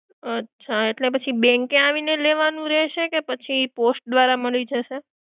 અચ્છા, એટલે પછી bank એ આવીને લેવાનું રહેશે કે પછી post માં મળી જશે?